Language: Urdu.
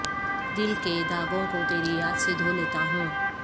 دل کے داغوں کو تری یاد سے دھولیتا ہوں